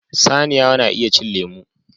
Saniya na iya cin lemu